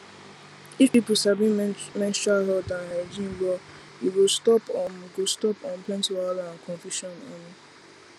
if people sabi menstrual health and hygiene well e go stop um go stop um plenty wahala and confusion um